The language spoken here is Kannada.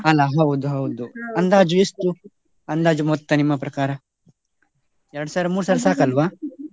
ಅಲ್ಲ ಹೌದು ಹೌದು ಅಂದಾಜು ಎಷ್ಟು, ಅಂದಾಜು ಮೊತ್ತ ನಿಮ್ಮ ಪ್ರಕಾರ ಎರಡು ಸಾವಿರ ಮೂರು ಸಾವಿರ ಸಾಕಲ್ವ?